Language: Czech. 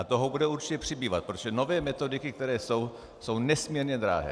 A toho bude určitě přibývat, protože nové metodiky, které jsou, jsou nesmírně drahé.